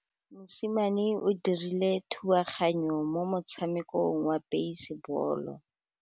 Mosimane o dirile thubaganyô mo motshamekong wa basebôlô.